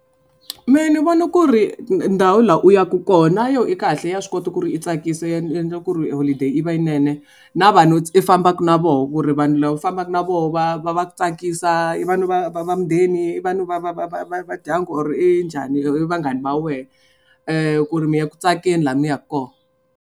Mehe ni vona ku ri ndhawu laha u yaka kona yo i kahle ya swi kota ku ri i tsakisa endla ku ri holiday i va yinene na vanhu i fambaka na vona ku ri vanhu lava fambaka na voho va va va tsakisa i vanhu va va va mundeni i vanhu va va va va va va ndyangu or i njhani vanghana va wena ku ri mi ya ku tsakeni laha mi yaka kona.